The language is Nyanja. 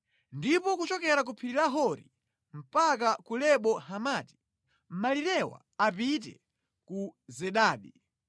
ndi kuchokera ku phiri la Hori mpaka ku Lebo Hamati. Malirewa apite ku Zedadi,